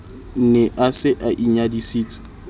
ne a se a inyadisitse